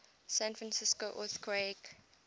san francisco earthquake